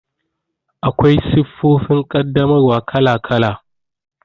Akwai siffofin ƙaddamarwa kala kala.